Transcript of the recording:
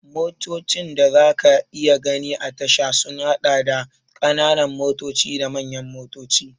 Motocin da za ka iya gani a tasha sun haɗa da, ƙananan motoci da manyan motoci.